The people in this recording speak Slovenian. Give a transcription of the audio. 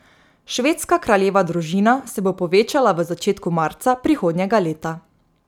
Švedska kraljeva družina se bo povečala v začetku marca prihodnjega leta.